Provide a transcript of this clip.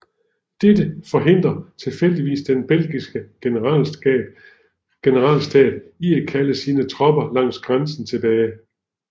Dette forhindrede tilfældigvis den belgiske generalstab i at kalde sine tropper langs grænsen tilbage